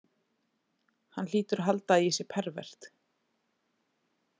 Hann hlýtur að halda að ég sé pervert.